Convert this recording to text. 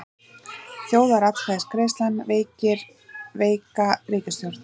Þjóðaratkvæðagreiðslan veikir veika ríkisstjórn